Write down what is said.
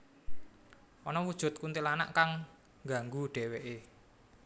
Ana wujud kuntilanak kang nnggangu dheweké